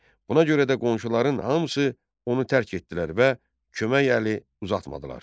Buna görə də qonşuların hamısı onu tərk etdilər və kömək əli uzatmadılar.